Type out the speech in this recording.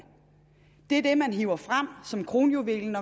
det er det man hiver frem som kronjuvelen